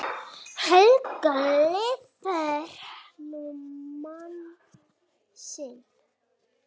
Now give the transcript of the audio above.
Helga lifir nú mann sinn.